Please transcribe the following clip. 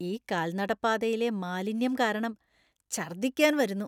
ഈ കാൽനടപ്പാതയിലെ മാലിന്യം കാരണം ഛർദ്ദിക്കാൻ വരുന്നു.